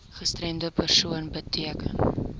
gestremde persoon beteken